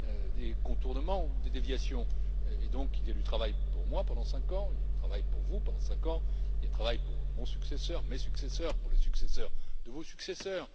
Il y a donc du travail pour moi pendant cinq ans, du travail pour vous pendant cinq ans et du travail pour mon successeur, mes successeurs, les successeurs de vos successeurs.